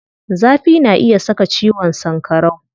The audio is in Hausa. Zafi na iya saka ciwon sankarau.